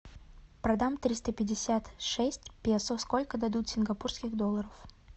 продам триста пятьдесят шесть песо сколько дадут сингапурских долларов